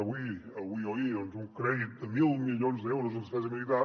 avui avui o ahir doncs un crèdit de mil milions d’euros en despesa militar